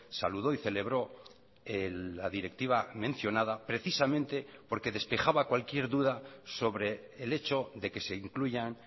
saludó y celebró la directiva mencionada precisamente porque despejaba cualquier duda sobre el hecho de que se incluyan